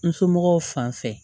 N somɔgɔw fan fɛ